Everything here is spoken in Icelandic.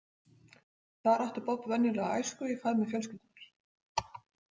Þar átti Bob venjulega æsku í faðmi fjölskyldunnar.